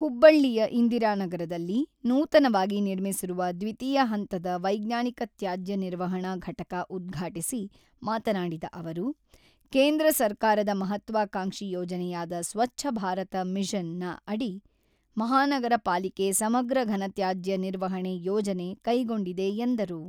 ಹುಬ್ಬಳ್ಳಿಯ ಇಂದಿರಾನಗರದಲ್ಲಿ ನೂತನವಾಗಿ ನಿರ್ಮಿಸಿರುವ ದ್ವಿತೀಯ ಹಂತದ ವೈಜ್ಞಾನಿಕ ತ್ಯಾಜ್ಯ ನಿರ್ವಹಣಾ ಘಟಕ ಉದ್ಘಾಟಿಸಿ ಮಾತನಾಡಿದ ಅವರು, ಕೇಂದ್ರ ಸರ್ಕಾರದ ಮಹತ್ವಾಕಾಂಕ್ಷಿ ಯೋಜನೆಯಾದ ಸ್ವಚ್ಛ ಭಾರತ ಮಿಷನ ಅಡಿ ಮಹಾನಗರ ಪಾಲಿಕೆ ಸಮಗ್ರ ಘನತ್ಯಾಜ್ಯ ನಿರ್ವಹಣೆ ಯೋಜನೆ ಕೈಗೊಂಡಿದೆ ಎಂದರು.